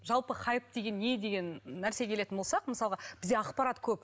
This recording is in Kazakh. жалпы хайп деген не деген нәрсеге келетін болсақ мысалға бізде ақпарат көп